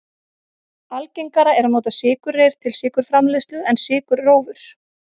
algengara er að nota sykurreyr til sykurframleiðslu en sykurrófur